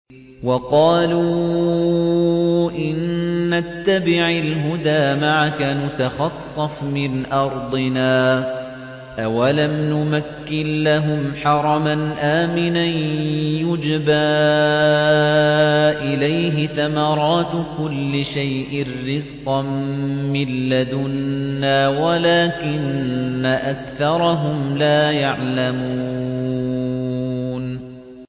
وَقَالُوا إِن نَّتَّبِعِ الْهُدَىٰ مَعَكَ نُتَخَطَّفْ مِنْ أَرْضِنَا ۚ أَوَلَمْ نُمَكِّن لَّهُمْ حَرَمًا آمِنًا يُجْبَىٰ إِلَيْهِ ثَمَرَاتُ كُلِّ شَيْءٍ رِّزْقًا مِّن لَّدُنَّا وَلَٰكِنَّ أَكْثَرَهُمْ لَا يَعْلَمُونَ